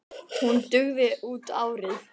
Hún dugi út árið.